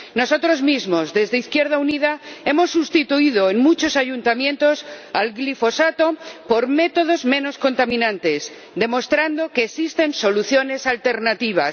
Nosotros mismos, desde Izquierda Unida, hemos sustituido en muchos ayuntamientos el glifosato por métodos menos contaminantes, demostrando que existen soluciones alternativas.